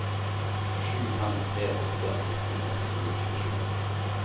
sju fem tre åtte nitten ett hundre og trettisju